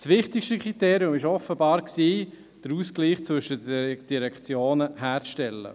– Das wichtigste Kriterium war offenbar, den Ausgleich zwischen den Direktionen herzustellen.